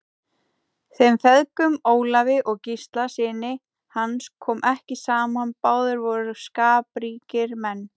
Þeim feðgum, Ólafi og Gísla syni hans, kom ekki saman, báðir voru skapríkir menn.